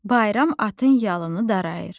Bayram atın yalını darayır.